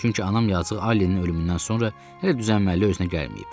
Çünki anam yazıq Allinin ölümündən sonra hələ düzəlməli özünə gəlməyib.